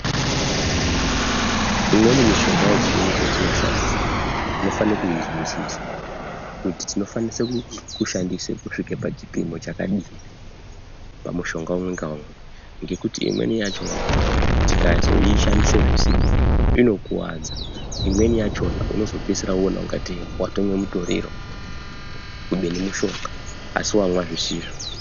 Imweni mishonga yechiyungu yetinoshandisa tinofanire kuizwisisa kuti tinofane kushandise kusvika pachipimo chakadini pamushonga umwe ngaumwe ngokuti imweni yachona tikazoishandise zvisizvo inokuwadza imweni yachona unozopedzisira woona kungatei watomwe mutoriro kubeni mushonga asi wamwa zvisizvo.